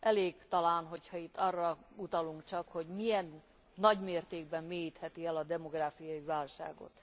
Elég talán, hogyha itt arra utalunk csak, hogy milyen nagymértékben mélyítheti el a demográfiai válságot.